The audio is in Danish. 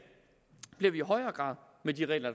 i højere grad med de regler